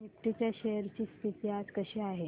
Nifty च्या shares ची स्थिती आज कशी आहे